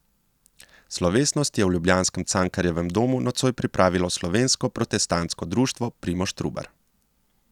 Slovesnost je v ljubljanskem Cankarjevem domu nocoj pripravilo Slovensko protestantsko društvo Primož Trubar.